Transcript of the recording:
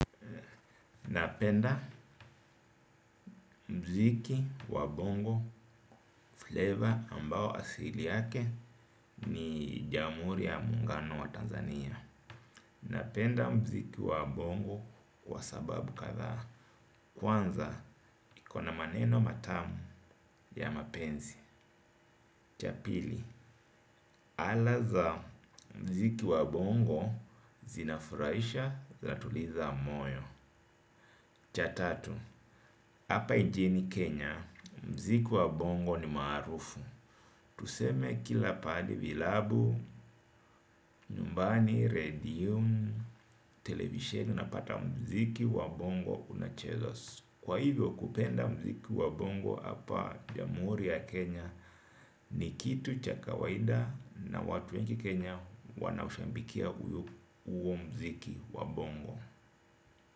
Napenda mziki wa bongo flavor ambao asili yake ni jamuri ya mungano wa Tanzania. Napenda mziki wa bongo kwa sababu katha. Kwanza iko na maneno matamu ya mapenzi. Cha pili ala za mziki wa bongo zinafuraisha zatuliza moyo. Cha tatu, apa injini Kenya, mziki wa bongo ni marufu. Tuseme kila pahali vilabu, nyumbani, radio, television unapata mziki wa bongo unachezwa. Kwa hivyo kupenda mziki wa bongo apa jamhuri ya Kenya ni kitu cha kawaida na watu wengi Kenya wanaushambikia uo mziki wa bongo.